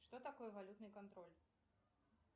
что такое валютный контроль